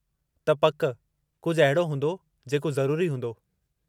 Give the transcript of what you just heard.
त पकि कुझु अहिड़ो हूंदो जेको ज़रूरी हूंदो।